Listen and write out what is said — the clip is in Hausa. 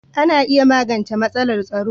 Ana iya magance matsala a taro.